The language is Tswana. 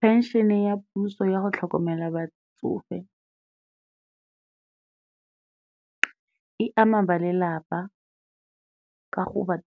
Phenšene ya puso ya go tlhokomela batsofe e ama ba lelapa ka go ba